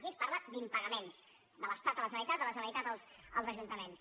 aquí es parla d’impagaments de l’estat a la generalitat de la ge·neralitat als ajuntaments